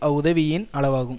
அவ்வுதவியின் அளவாகும்